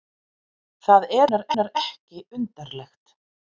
Það er raunar ekki undarlegt.